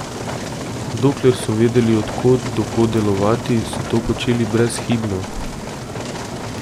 Dokler so vedeli, od kod do kod delovati, so to počeli brezhibno.